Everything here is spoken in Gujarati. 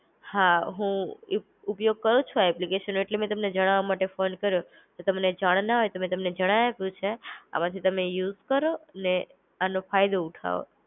હા હું ઉપ ઉપયોગ કરું છુ આ એપ્લિકેશન એટલે મેં તમને જાણવા માટે ફોન કર્યો. કે તમને જાણના હે તો મેં તમને જણાય આપ્યું છે. આમાંથી તમે યુઝ કરો ને આનો ફાયદો ઉઠાઓ